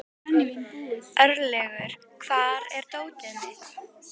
Örlygur, hvar er dótið mitt?